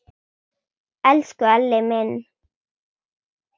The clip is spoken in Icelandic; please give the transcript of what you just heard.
Elsku Elli minn.